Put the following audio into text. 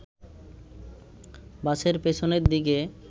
বাসের পেছনের দিকে